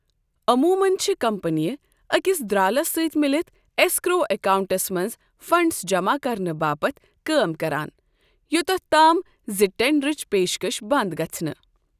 عمومَن چھِ کمپنیہٕ أکِس درٛالس سۭتۍ مِلِتھ ایسکرو اکاؤنٹَس منٛز فنڈز جمع کرنہٕ باپتھ کٲم کران یۄتتھ تام زِ ٹینڈرٕچ پیشکش بنٛد گژھنہٕ۔